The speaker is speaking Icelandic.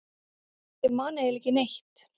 Ég man eiginlega ekki neitt.